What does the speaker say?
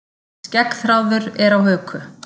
Skeggþráður er á höku.